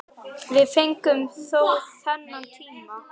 Við fengum þó þennan tíma.